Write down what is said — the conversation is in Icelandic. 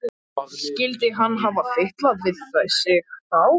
Skyldi hann hafa fitlað við sig þá?